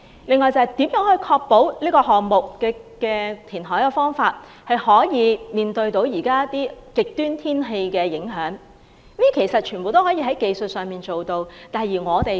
此外，如何確保人工島可以抵禦極端天氣的影響？其實這些問題技術上都可以解決。